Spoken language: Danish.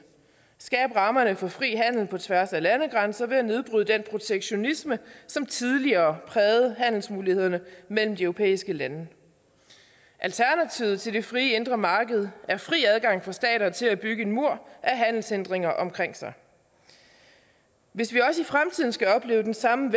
skabe rammerne for fri handel på tværs af landegrænser ved at nedbryde den protektionisme som tidligere prægede handelsmulighederne mellem de europæiske lande alternativet til det frie indre marked er fri adgang for stater til at bygge en mur af handelshindringer omkring sig hvis vi også i fremtiden skal opleve den samme